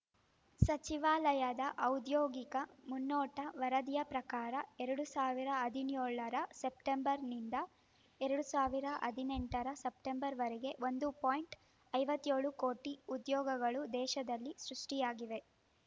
ಸಚಿವಾಲಯದ ಔದ್ಯೋಗಿಕ ಮುನ್ನೋಟ ವರದಿಯ ಪ್ರಕಾರ ಎರಡ್ ಸಾವಿರದ ಹದಿನ್ಯೋಳರ ಸೆಪ್ಟೆಂಬರ್‌ನಿಂದ ಎರಡ್ ಸಾವಿರದ ಹದಿನೆಂಟರ ಸೆಪ್ಟೆಂಬರ್‌ವರೆಗೆ ಒಂದು ಪಾಯಿಂಟ್ ಐವತ್ತ್ ಏಳು ಕೋಟಿ ಉದ್ಯೋಗಗಳು ದೇಶದಲ್ಲಿ ಸೃಷ್ಟಿಯಾಗಿವೆ